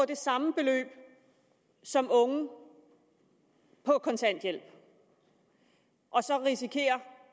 det samme beløb som unge på kontanthjælp og så risikere